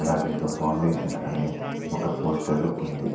అలాగే ఒక ఫౌండేషన్ అనే ఒక పోస్టరు ఉంది.